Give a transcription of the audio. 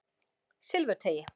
Silfurteigi